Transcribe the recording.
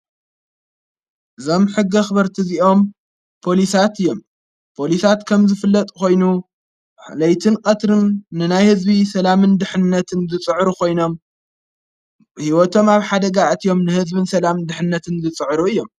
ዘም ሕጊ ኽበርቲ እዚኦም ጶሊሳት እዮም ጶሊሳት ከም ዝፍለጥ ኾይኑ ለይትን ቀትርን ንናይ ሕዝቢ ሰላምን ድኅነትን ዝጽዕሩ ኾይኖም ሕይወቶም ኣብ ሓደጋእት እዮም ንሕዝቢን ሰላምን ድኅነትን ዝጽዕሩ እዮም።